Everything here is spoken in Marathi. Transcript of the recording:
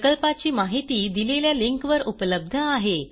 प्रकल्पाची माहिती दिलेल्या लिंकवर उपलब्ध आहे